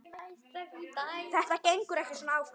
Þetta gengur ekki svona áfram.